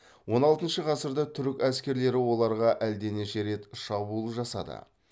он алтыншы ғасырда түрік әскерлері оларға әлденеше рет шабуыл жасады